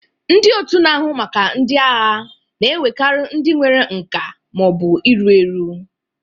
Ndị otu na-ahụ maka ndị agha na-ewekarị ndị nwere nka ma ọ bụ iru eru.